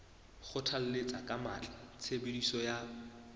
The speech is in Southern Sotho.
kgothalletsa ka matla tshebediso ya